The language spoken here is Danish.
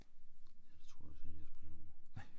Den tror jeg altså lige at jeg springer over